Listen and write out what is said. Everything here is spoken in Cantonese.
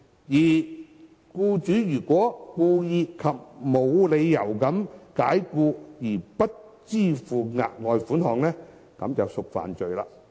如果僱主故意及無理解僱而不支付額外款項，即屬犯罪。